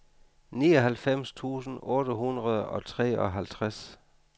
nioghalvfems tusind otte hundrede og treoghalvtreds